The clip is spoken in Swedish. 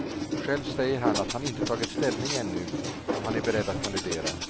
Själv säger han att han inte tagit ställning ännu om han är beredd att kandidera.